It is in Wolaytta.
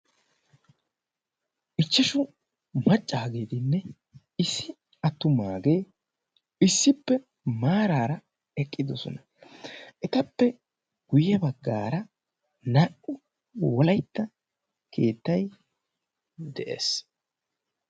ichchashu maccaageedinne issi attumaagee issippe maaraara eqqidosona etappe guyye baggaara naa77u wolaitta keettai de7ees